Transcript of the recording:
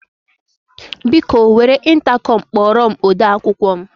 Biko, were ịntakọm kpọrọ m ode akwụkwọ m.